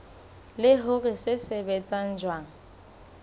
le hore se sebetsa jwang